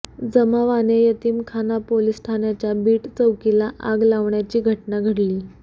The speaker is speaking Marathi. जमावाने यतीमखाना पोलिस ठाण्याच्या बीट चौकीला आग लावण्याची घटना घडली